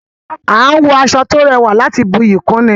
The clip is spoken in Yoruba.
A n wọ aṣọ to rẹwà láti buyi kún ni